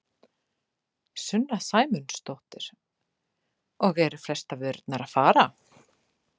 Sunna Sæmundsdóttir: Og eru flestar vörurnar að fara?